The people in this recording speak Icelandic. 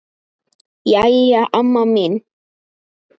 Jæja amma mín.